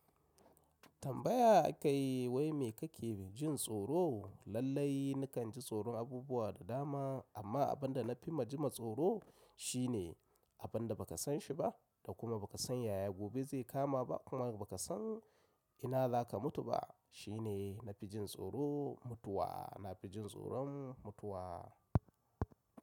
Tambaya aka yi wai me kake jin tsoro? Lallai nakan ji tsoron abubuwa da dama amma abin da na fi ma jima tsoro shi ne abin da ba ka san shi ba da kuma ba ka san yaya gobe zai kama ba kuma ba ka san ina za ka mutu ba. Shi ne na fi jin tsoro mutuwa, na fi jin tsoron mutuwa.